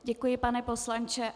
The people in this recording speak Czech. Děkuji, pane poslanče.